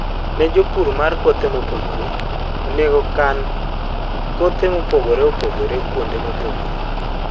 ne jopur mar kothe mopogore oningo kan kothe mopogoreopogore kuonde mopogore